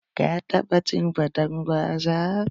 Ka taɓa cin faten gwaza?